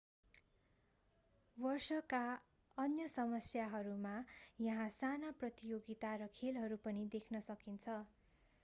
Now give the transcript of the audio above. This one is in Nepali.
वर्षका अन्य समयहरूमा यहाँ साना प्रतियोगिता र खेलहरू पनि देख्न सकिन्छ